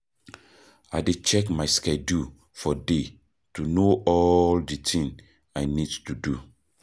I dey check my schedule for day to know all the things I need to do.